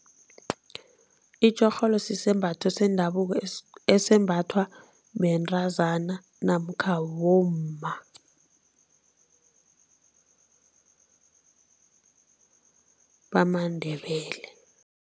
Itjorholo sisembatho sendabuko esembathwa bentazana namkha bomma bamaNdebele.